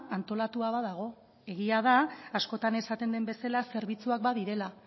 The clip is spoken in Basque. antolatua badago egia da askotan esaten den bezala zerbitzuak badirela